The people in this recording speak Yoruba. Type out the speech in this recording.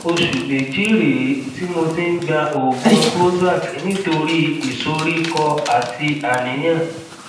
oṣù méjì rèé tí mo ti ń gba oògùn prozac nítorí ìsoríkọ àti àníyàn